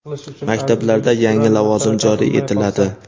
Maktablarda yangi lavozim joriy etiladi.